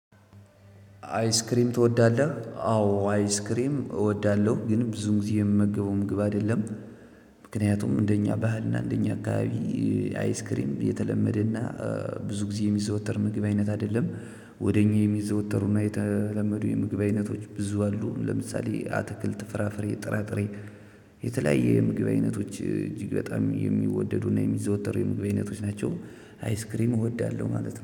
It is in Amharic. አይስክሪም ትወዳለህ? አዎ አይስክሪም እወዳለሁ ግን ብዙ ጊዜ የምመገበው ምግብ አይደለም። ምክንያቱም እንደኛ ባህልና እንደኛ አካባቢ። አይስክሪም የተለመደና ብዙ ጊዜ የሚዘወተር ምግብ አይነት አይደለም። ወደ እኛ የሚዘወተሩና የተለመዱ የምግብ አይነቶች ብዙ አሉ። ለምሳሌ አትክልት ፍራፍሬ ጥራጥሬ። የተለያየ የምግብ አይነቶች እጅግ በጣም የሚወደዱና የሚዘወተሩ የምግብ አይነቶች ናቸው። አይስክሪም እወዳለሁ ማለት ነው